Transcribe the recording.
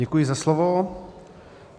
Děkuji za slovo.